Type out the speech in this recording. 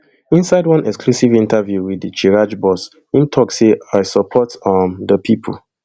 inside one exclusive interview wit di chraj boss im tok say i support um di pipo